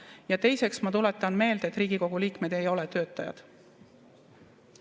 Ja teiseks, ma tuletan meelde, et Riigikogu liikmed ei ole töötajad.